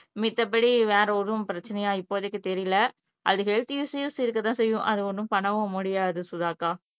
மித்தபடி வேற ஒரும் பிரச்சனையா இப்போதைக்கு தெரியல அது ஹெல்த் இஷூஸ் இருக்க தான் செய்யும் அது ஒன்னும் பண்ணவும் முடியாது சுதா அக்கா